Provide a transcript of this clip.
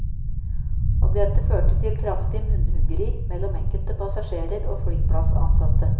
Og dette førte til kraftig munnhuggeri mellom enkelte passasjerer og flyplassansatte.